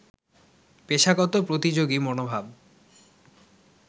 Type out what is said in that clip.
পেশাগত প্রতিযোগী মনোভাব